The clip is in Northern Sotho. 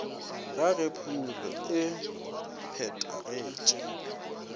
ga ge phumulo e phethagetše